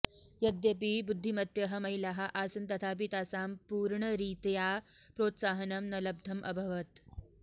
यद्यपि बुद्धिमत्यः महिलाः आसन् तथापि तासां पूर्णरीत्या प्रोत्साहनं न लब्धम अभवत्